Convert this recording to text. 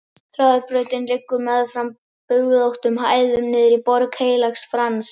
Hraðbrautin liggur meðfram bugðóttum hæðum niður í Borg Heilags Frans.